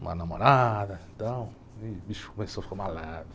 uma namorada, então o bicho começou a ficar malandro.